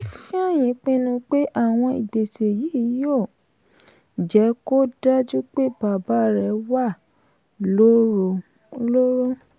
ifeanyi pinnu pé àwọn ìgbésẹ yìí yóò jẹ́ kó dájú pé bàbá rẹ̀ wà lóhun lóró.